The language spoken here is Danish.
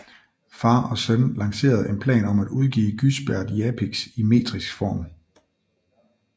Far og søn lancerede en plan om at udgive Gysbert Japicx i metrisk form